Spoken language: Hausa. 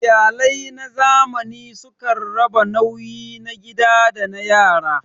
Iyalai na zamani sukan raba nauyi na gida da na yara.